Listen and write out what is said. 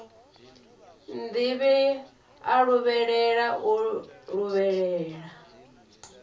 nnḓivhi a luvhelela o luvhelela